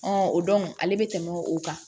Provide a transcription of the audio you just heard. o ale bɛ tɛmɛ o kan